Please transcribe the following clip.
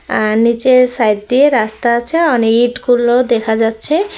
আর নীচের সাইড দিয়ে রাস্তা আছে ইটগুলো দেখা যাচ্ছে।